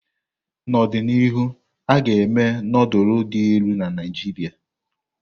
N'ọdịnihu, a ga-eme nufulu dị elu na Naijiria.